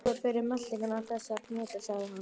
Góðar fyrir meltinguna, þessar hnetur sagði hann.